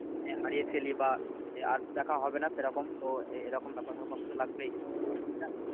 হারিয়ে ফেলি বা আর তো দেখা হবে না সেরকম। তো এরকম ব্যাপার ধরো কষ্ট তো লাগবেই, বুঝলা?